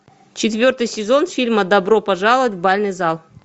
четвертый сезон фильма добро пожаловать в бальный зал